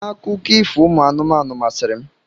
Akụkọ ifo ụmụ anụmanụ masịrị m.